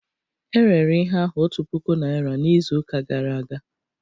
E rere ihe ahụ otu puku naira n'izuụka gara aga